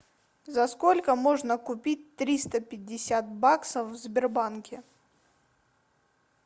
за сколько можно купить триста пятьдесят баксов в сбербанке